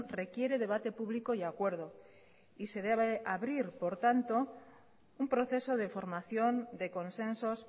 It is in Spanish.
requiere debate público y acuerdo y se debe abrir por tanto un proceso de formación de consensos